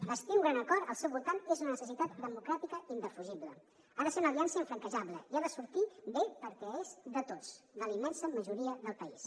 bastir un gran acord al seu voltant és una necessitat democràtica indefugible ha de ser una aliança infranquejable i ha de sortir bé perquè és de tots de la immensa majoria del país